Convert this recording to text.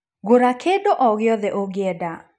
Gũra kĩndũ o gĩothe ũngĩenda